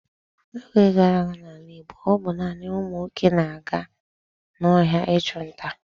N'oge gara aga n'ala Igbo, ọ bụ naanị ụmụ nwoke na-aga n'ọhịa ịchụ nta.